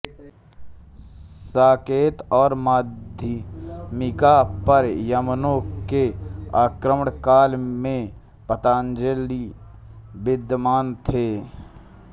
साकेत और माध्यमिका पर यवनों के आक्रमणकाल में पतंजलि विद्यमान थे